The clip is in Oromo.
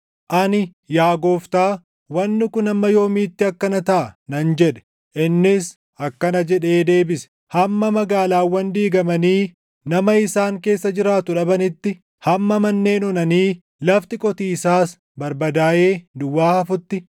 Ani, “Yaa Gooftaa, wanni kun hamma yoomiitti akkana taʼa?” nan jedhe. Innis akkana jedhee deebise: “Hamma magaalaawwan diigamanii nama isaan keessa jiraatu dhabanitti, hamma manneen onanii lafti qotiisaas barbadaaʼee duwwaa hafutti,